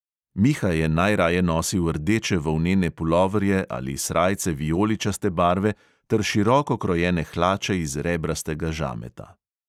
Miha je najraje nosil rdeče volnene puloverje ali srajce vijoličaste barve ter široko krojene hlače iz rebrastega žameta.